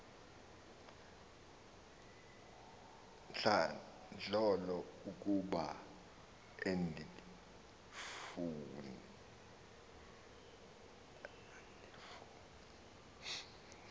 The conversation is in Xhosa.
ntlandlolo ukuba andifuni